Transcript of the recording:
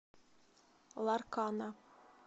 ларкана